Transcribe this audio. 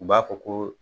U b'a fɔ ko